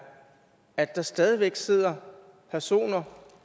at der stadig væk sidder personer